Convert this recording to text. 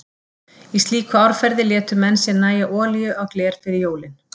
Í slíku árferði létu menn sér nægja olíu á gler fyrir jólin.